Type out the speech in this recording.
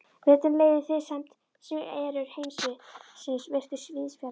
Veturinn leið í friðsemd svo erjur heimsins virtust víðsfjarri.